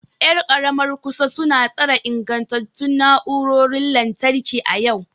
Yar karamar kusa su na tsara ingantattun na'urorin lantarki a yau.